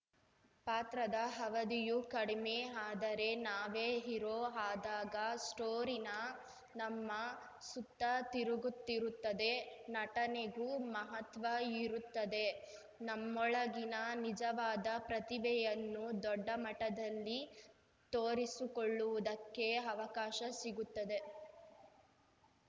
ಪಾತ್ರದ ಅವಧಿಯೂ ಕಡಿಮೆ ಆದರೆ ನಾವೇ ಹೀರೋ ಆದಾಗ ಸ್ಟೋರಿನ ನಮ್ಮ ಸುತ್ತ ತಿರುಗುತ್ತಿರುತ್ತದೆ ನಟನೆಗೂ ಮಹತ್ವ ಇರುತ್ತದೆ ನಮ್ಮೊಳಗಿನ ನಿಜವಾದ ಪ್ರತಿಭೆಯನ್ನು ದೊಡ್ಡ ಮಟ್ಟದಲ್ಲಿ ತೋರಿಸಿಕೊಳ್ಳುವುದಕ್ಕೆ ಅವಕಾಶ ಸಿಗುತ್ತದೆ